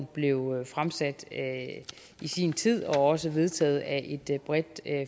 blev fremsat i sin tid og også vedtaget af et bredt